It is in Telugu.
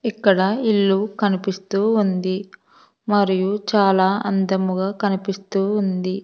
ఇక్కడ ఇల్లు కనిపిస్తూ ఉంది మరియు చాలా అందముగా కనిపిస్తూ ఉంది.